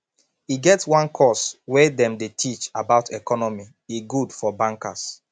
e get one course way dem dy teach about economy e good for bankers